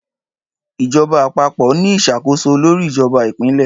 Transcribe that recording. Ìjọba Àpapọ̀ ni ìṣàkóso lórí ìjọba Ìpínlẹ̀